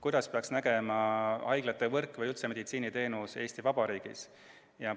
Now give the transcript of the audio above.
Kuidas peaks välja nägema haiglate võrk või üldse meditsiiniteenus Eesti Vabariigis?